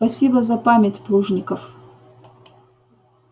спасибо за память плужников